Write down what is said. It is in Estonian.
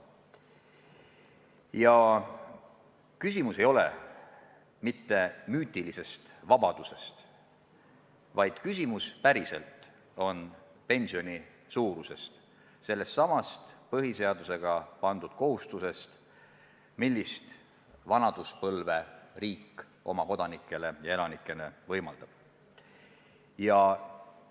Ja küsimus ei ole mitte müütilises vabaduses, küsimus on konkreetses pensioni suuruses, sellessamas põhiseadusega riigile pandud kohustuses kindlustada oma kodanikele ja kõigile elanikele normaalne vanaduspõlv.